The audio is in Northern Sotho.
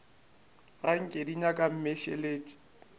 ga nke di nyaka mmešelet